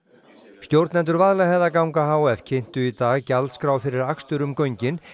stjórnendur Vaðlaheiðarganga h f kynntu í dag gjaldskrá fyrir akstur um göngin